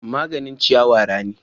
Maganin ciyawa rani.